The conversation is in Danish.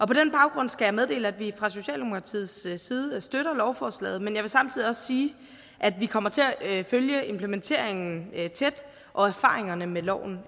på den baggrund skal jeg meddele at vi fra socialdemokratiets side støtter lovforslaget men jeg vil samtidig også sige at vi kommer til at følge implementeringen af og erfaringerne med loven